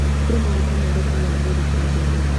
Kũrĩ maguta mathũkagĩra ngothi cia andũ amwe